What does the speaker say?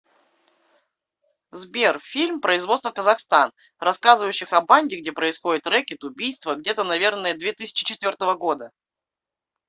сбер фильм производство казахстан рассказывающих о банде где происходит рэкет убийство где то наверное две тысячи четвертого года